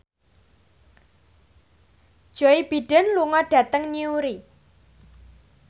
Joe Biden lunga dhateng Newry